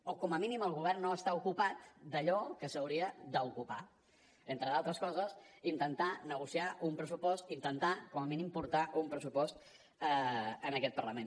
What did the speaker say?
o com a mínim el govern no està ocupat en allò que s’hauria d’ocupar entre altres coses intentar negociar un pressupost intentar com a mínim portar un pressupost a aquest parlament